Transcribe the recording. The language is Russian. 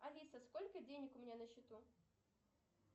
алиса сколько денег у меня на счету